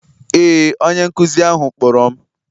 Ee, onye nkụzi ahụ kpọrọ m